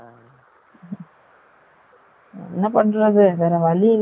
என்ன பன்றது வெர வலி இல்ல